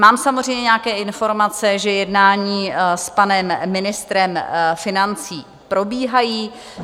Mám samozřejmě nějaké informace, že jednání s panem ministrem financí probíhají.